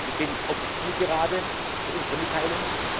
Wir sind auf der Zielgeraden für unsere Mitteilung.